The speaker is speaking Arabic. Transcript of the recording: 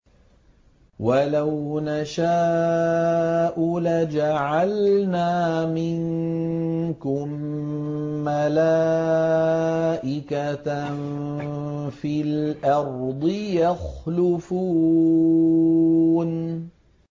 وَلَوْ نَشَاءُ لَجَعَلْنَا مِنكُم مَّلَائِكَةً فِي الْأَرْضِ يَخْلُفُونَ